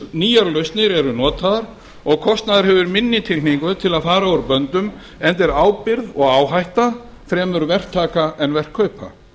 nýjar lausnir eru notaðar og kostnaður hefur minni tilhneigingu til að fara úr böndum enda er ábyrgð og áhætta fremur verktaka en verkkaupa